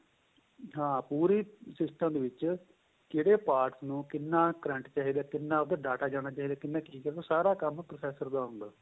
ਹਾਂ ਪੂਰੇ system ਦੇ ਵਿੱਚ ਕਿਹੜੇ parts ਨੂੰ ਕਿੰਨਾ current ਚਾਹੀਦਾ ਕਿੰਨਾ ਉਹਦੇ ਚ data ਜਾਣਾ ਚਾਹੀਦਾ ਏ ਕਿੰਨਾ ਕਿ ਉਹ ਸਾਰਾ ਕੰਮ processor ਦਾ ਹੁੰਦਾ